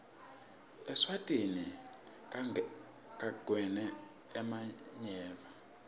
eswatini kagwele emanyeva